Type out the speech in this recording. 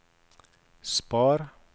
spar